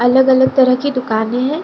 अलग-अलग तरह की दुकाने है।